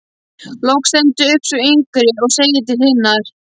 Loks stendur upp sú yngri og segir til hinnar: